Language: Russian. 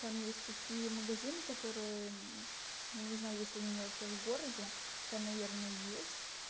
там есть такие магазины которые я не знаю если они у меня вообще в городе у тебя наверное есть